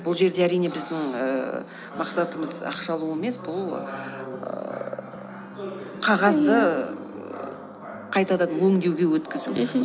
бұл жерде әрине біздің ііі мақсатымыз ақша алу емес бұл ііі қағазды қайтадан өңдеуге өткізу мхм